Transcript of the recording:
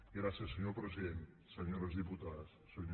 gràcies senyor president senyores diputades senyors diputats